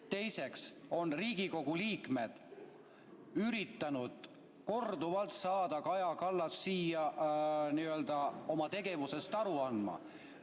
Teiseks on Riigikogu liikmed üritanud korduvalt saada Kaja Kallast siia oma tegevusest aru andma.